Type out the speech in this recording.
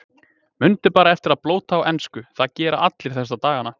Mundu bara eftir að blóta á ensku, það gera allir þessa dagana.